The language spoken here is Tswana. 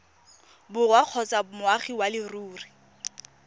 borwa kgotsa moagi wa leruri